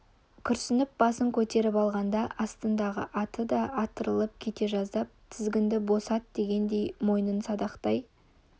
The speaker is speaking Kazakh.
күрсініп басын көтеріп алғанда астындағы аты да атырылып кете жаздап тізгінді босат дегендей мойнын садақтай